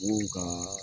ka